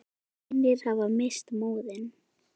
Hinir hafa misst móðinn.